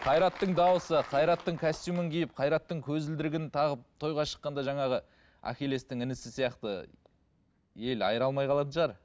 қайраттың дауысы қайраттың костюмін киіп қайраттың көзілдірігін тағып тойға шыққанда жаңағы ахилестің інісі сияқты ел айыра алмай қалатын шығар